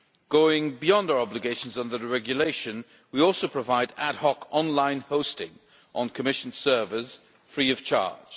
Going beyond our obligations on the regulation, we also provide ad hoc online hosting on Commission servers free of charge.